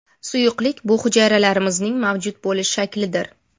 Suyuqlik bu hujayralarimizning mavjud bo‘lish shaklidir.